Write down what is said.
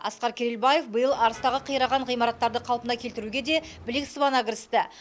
асқар керелбаев биыл арыстағы қираған ғимараттарды қалпына келтіруге де білек сыбана кірісті